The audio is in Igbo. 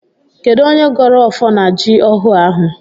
Kedụ onye gọrọ ọfọ na jị ọhụụ ahụ?